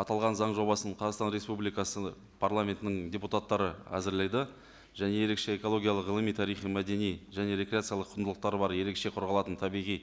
аталған заң жобасын қазақстан республикасы парламентінің депутаттары әзірледі және ерекше экологиялық ғылыми тарихи мәдени және рекреациялық құндылықтары бар ерекше қорғалатын табиғи